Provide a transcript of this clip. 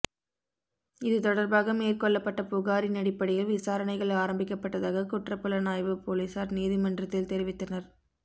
இது தொடர்பாக மேற்கொள்ளப்பட்ட புகாரின் அடிப்படையில் விசாரணைகள் ஆரம்பிக்கப்பட்டதாக குற்றப்புலனாய்வு பொலிஸார் நீதிமன்றத்தில் தெரிவித்தனர்